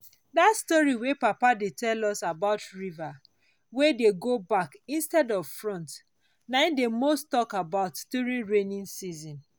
dat story wey papa dey tell about river wey dey go back instead of front na dey most talk about during raining season